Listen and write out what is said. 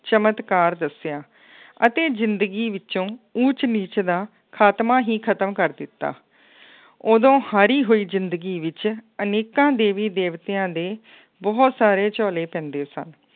ਚਮਤਕਾਰ ਦੱਸਿਆ ਅਤੇ ਜ਼ਿੰਦਗੀ ਵਿੱਚੋਂ ਊਚ ਨੀਚ ਦਾ ਖਾਤਮਾ ਹੀ ਖਤਮ ਕਰ ਦਿੱਤਾ ਉਦੋਂ ਹਾਰੀ ਹੋਈ ਜ਼ਿੰਦਗੀ ਵਿੱਚ ਅਨੇਕਾਂ ਦੇਵੀ ਦੇਵਿਤਆਂ ਦੇ ਬਹੁਤ ਸਾਰੇ ਝੋਲੇ ਪੈਂਦੇ ਸਨ,